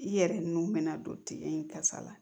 I yɛrɛ nu bɛna don tigɛ in kasa la